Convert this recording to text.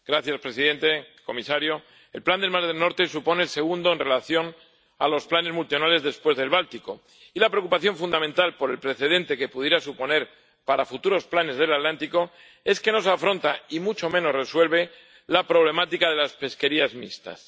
Señor presidente, señor comisario, el plan del mar del Norte supone el segundo en relación con los planes multianuales después del Báltico, y la preocupación fundamental por el precedente que pudiera suponer para futuros planes del Atlántico es que no se afronta —y mucho menos se resuelve— la problemática de las pesquerías mixtas.